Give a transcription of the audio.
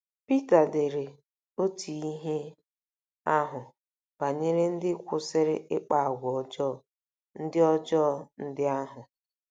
Pita dere otú ihe ahụ banyere ndị kwụsịrị ịkpa àgwà ọjọọ ndị ọjọọ ndị ahụ.